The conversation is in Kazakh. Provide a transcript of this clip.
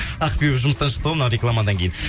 ақбибі жұмыстан шықты ғой мына рекламадан кейін